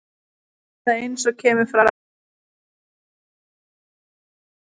Eða eins og kemur fram í vísunni um hann og tvo aðra spáfugla: